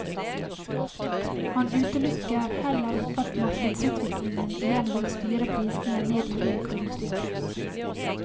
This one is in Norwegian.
Han utelukker heller ikke at markedsutviklingen igjen vil styre prisene ned i én krone stykket.